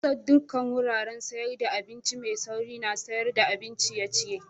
Kusar dukan wuraren sayar da abinci mai sauri na sayar da abin ciye-ciye.